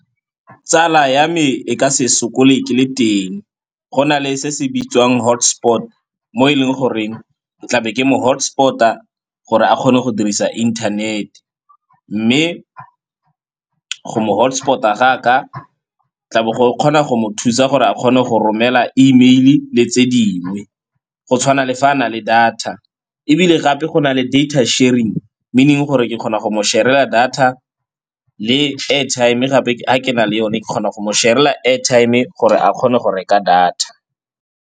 Tsala ya me e ka se sokole ke le teng, go na le se se bitswang hotspot mo e leng goreng tla be ke mo hotspot-a gore a kgone go dirisa inthanet. Mme go mo hotspot-a ga ka tla bo go kgona go mo thusa gore a kgone go romela email-e le tse dingwe, go tshwana le fa a na le data. Ebile gape go na le data sharing, meaning gore ke kgona go mo share-ela data le airtime gape ga ke na le yone ke kgona go mo share-ela airtime-e gore a kgone go reka data.